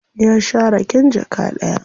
Ya sha raken jaka ɗaya.